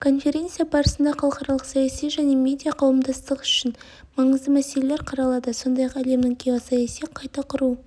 конференция барысында халықаралық саяси және медиа қауымдастық үшін маңызды мәселелер қаралады сондай-ақ әлемнің геосаяси қайта құру